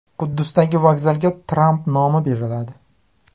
Quddusdagi vokzalga Tramp nomi beriladi.